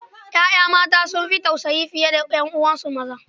Ƴaƴa mata sun fi tausayi fiye da 'yan'uwansu maza.